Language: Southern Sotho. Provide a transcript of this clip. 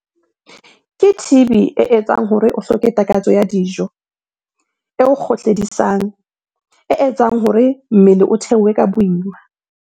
Ke TB e etsang hore o hloke takatso ya dijo, e o kgohledisang, e etsang hore mmele o theohe ka boima.